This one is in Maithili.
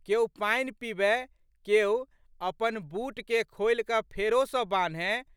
केओ पानि पीबए, केओ, अपन बूटके खोलिकए फेरो सँ बान्हए।